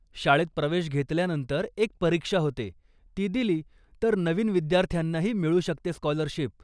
शाळेत प्रवेश घेतल्यानंतर एक परीक्षा होते, ती दिली तर नवीन विद्यार्थ्यांनाही मिळू शकते स्कॉलरशिप.